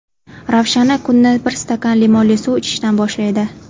Ravshana kunni bir stakan limonli suv ichishdan boshlaydi.